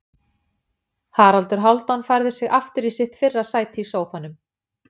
Haraldur Hálfdán færði sig aftur í sitt fyrra sæti í sófanum.